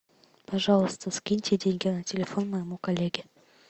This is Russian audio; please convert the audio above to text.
пожалуйста скиньте деньги на телефон моему коллеге